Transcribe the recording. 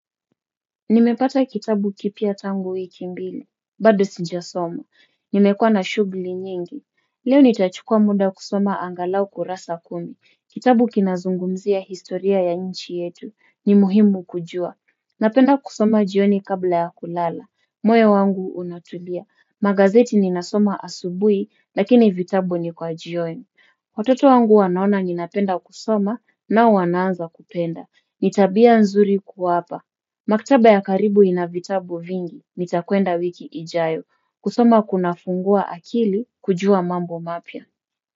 Nimepata kitabu kipya tangu wiki mbili, bado sijasoma, nimekua na shugli nyingi. Leo nitachukua muda kusoma angalau kurasa kumi, kitabu kinazungumzia historia ya nchi yetu, ni muhimu kujua. Napenda kusoma jioni kabla ya kulala, moyo wangu unatulia, magazeti ninasoma asubuhi, lakini vitabu ni kwa jioni. Watoto wangu wanaona ninapenda kusoma nao wanaanza kupenda, ni tabia nzuri kuwapa. Maktaba ya karibu inavitabu vingi, nitakwenda wiki ijayo, kusoma kunafungua akili kujua mambo mapya.